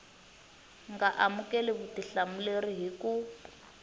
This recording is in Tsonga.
nga amukeli vutihlamuleri hi ku